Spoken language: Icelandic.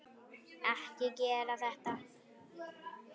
Ekki gera þetta.